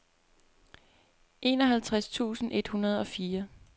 enoghalvtreds tusind et hundrede og fire